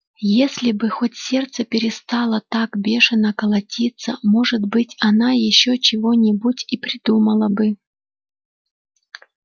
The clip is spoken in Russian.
если бы хоть сердце перестало так бешено колотиться может быть она ещё чего-нибудь и придумала бы